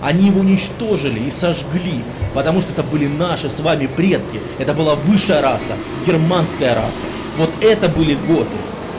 они уничтожили и сожгли потому что это были наши с вами предки это была высшая раса германская раса вот это были готы